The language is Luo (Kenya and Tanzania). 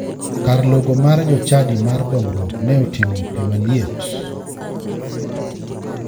Kar logo mar jochadi mar dongruok ne oting'o pii maliet.